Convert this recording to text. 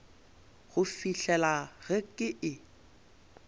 go fihlela ge ke e